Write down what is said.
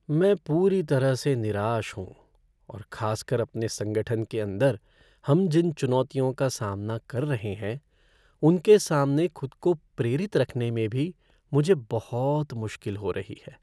मैं पूरी तरह से निराश हूँ और खास कर अपने संगठन के अंदर हम जिन चुनौतियों का सामना कर रहे हैं उनके सामने खुद को प्रेरित रखने में भी मुझे बहुत मुश्किल हो रही है।